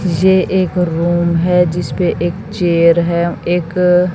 ये एक रूम है जिसपे एक चेयर है एक--